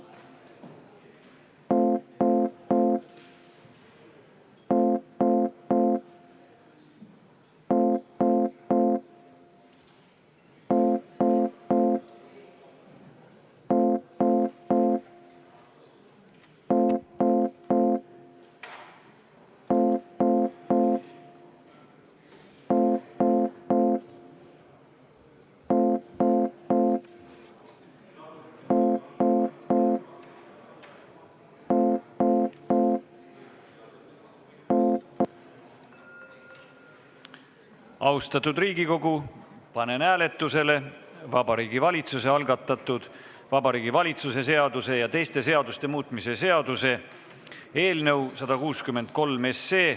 Austatud Riigikogu, panen hääletusele Vabariigi Valitsuse algatatud Vabariigi Valitsuse seaduse ja teiste seaduste muutmise seaduse eelnõu 163.